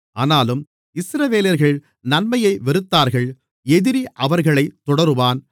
ஆனாலும் இஸ்ரவேலர்கள் நன்மையை வெறுத்தார்கள் எதிரி அவர்களைத் தொடருவான்